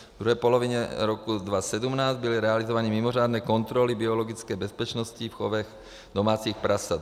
V druhé polovině roku 2017 byly realizovány mimořádné kontroly biologické bezpečnosti v chovech domácích prasat.